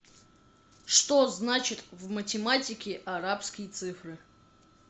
что значит в математике арабские цифры